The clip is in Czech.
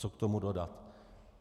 Co k tomu dodat?